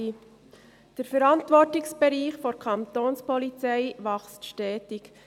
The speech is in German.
Der Verantwortungsbereich der Kapo wächst stetig.